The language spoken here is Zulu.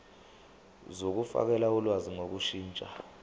zokufakela ulwazi ngokushintsha